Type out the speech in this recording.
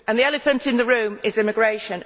The elephant in the room is immigration.